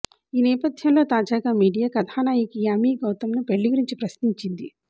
ఈ నేపథ్యంలో తాజాగా మీడియా కథానాయిక యామీ గౌతమ్ను పెళ్లి గురించి ప్రశ్నించింది